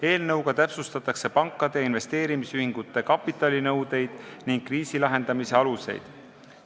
Näiteks täpsustatakse pankade ja investeerimisühingute kapitalinõudeid ning kriisilahendamise aluseid.